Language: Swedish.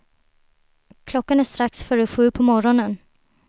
Klockan är strax före sju på morgonen.